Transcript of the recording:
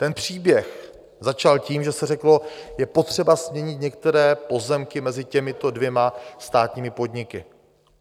Ten příběh začal tím, že se řeklo, je potřeba směnit některé pozemky mezi těmito dvěma státními podniky.